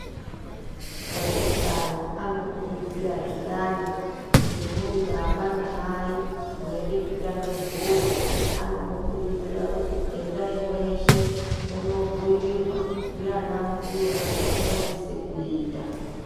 Eutano anokurudzira zviyani kuti muri baba namai mweide kuronge mburi anomukurudzira kuti endai mweshe munobhuyirwa ndiana mbuya zvamunosise kuita.